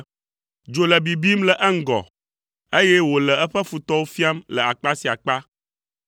Dzo le bibim le eŋgɔ, eye wòle eƒe futɔwo fiam le akpa sia akpa.